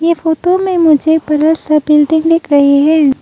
ये फोटो में मुझे बड़ा सा बिल्डिंग दिख रही है।